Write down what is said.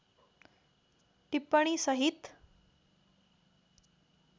टिप्पणी सहित